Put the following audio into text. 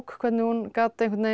hvernig hún gat einhvern veginn